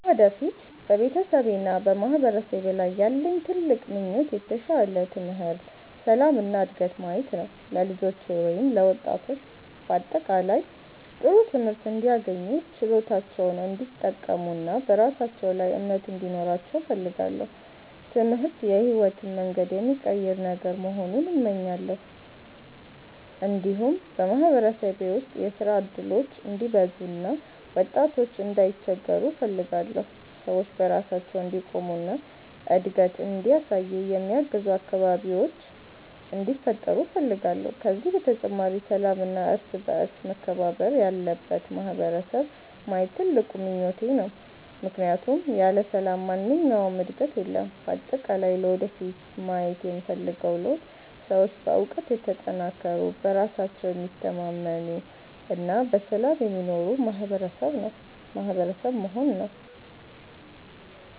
ለወደፊት በቤተሰቤና በማህበረሰቤ ላይ ያለኝ ትልቅ ምኞት የተሻለ ትምህርት፣ ሰላም እና ዕድገት ማየት ነው። ለልጆቼ ወይም ለወጣቶች በአጠቃላይ ጥሩ ትምህርት እንዲያገኙ፣ ችሎታቸውን እንዲጠቀሙ እና በራሳቸው ላይ እምነት እንዲኖራቸው እፈልጋለሁ። ትምህርት የሕይወትን መንገድ የሚቀይር ነገር መሆኑን እመኛለሁ። እንዲሁም በማህበረሰቤ ውስጥ የሥራ እድሎች እንዲበዙ እና ወጣቶች እንዳይቸገሩ እፈልጋለሁ። ሰዎች በራሳቸው እንዲቆሙ እና እድገት እንዲያሳዩ የሚያግዙ አካባቢዎች እንዲፈጠሩ እፈልጋለሁ። ከዚህ በተጨማሪ ሰላምና እርስ በእርስ መከባበር ያለበት ማህበረሰብ ማየት ትልቁ ምኞቴ ነው፣ ምክንያቱም ያለ ሰላም ማንኛውም ዕድገት የለም። በአጠቃላይ ለወደፊት ማየት የምፈልገው ለውጥ ሰዎች በእውቀት የተጠናከሩ፣ በራሳቸው የሚታመኑ እና በሰላም የሚኖሩ ማህበረሰብ መሆን ነው።